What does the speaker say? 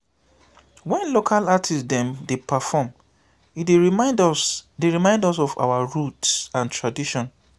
wen local artist dem dey perform e dey remind us dey remind us of our roots and tradition.